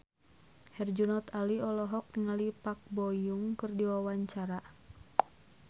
Herjunot Ali olohok ningali Park Bo Yung keur diwawancara